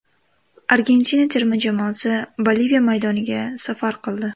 Argentina terma jamoasi Boliviya maydoniga safar qildi.